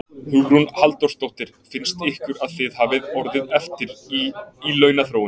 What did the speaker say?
Hugrún Halldórsdóttir: Finnst ykkur að þið hafið orðið eftir í, í launaþróun?